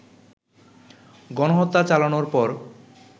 গণহত্যা চালানোর পর